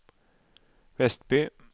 Vestby